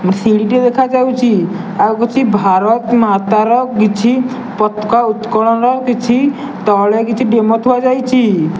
ସିଡି ଟିଏ ଦେଖା ଯାଉଚି ଆଉ କିଛି ଭାରତ ମାତର କିଛି ପତକା ଉତ୍ତୋଳନ କିଛି ତଳେ କିଛି ଡିମୋ ଥିଆଯାଇଚି ।